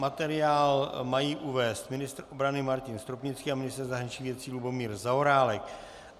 Materiál mají uvést ministr obrany Martin Stropnický a ministr zahraničních věcí Lubomír Zaorálek.